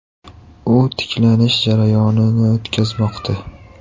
U tiklanish jarayonini o‘tkazmoqda.